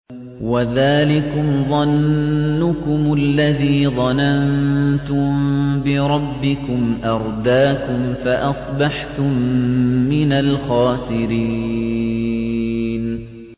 وَذَٰلِكُمْ ظَنُّكُمُ الَّذِي ظَنَنتُم بِرَبِّكُمْ أَرْدَاكُمْ فَأَصْبَحْتُم مِّنَ الْخَاسِرِينَ